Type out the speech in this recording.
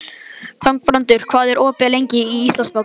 Þangbrandur, hvað er opið lengi í Íslandsbanka?